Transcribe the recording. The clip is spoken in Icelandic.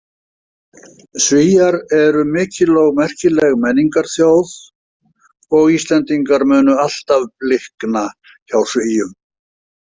Svíar eru mikil og merkileg menningarþjóð og Íslendingar munu alltaf blikna hjá Svíum.